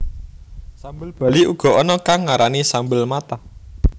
Sambel Bali uga ana kang ngarani sambal matah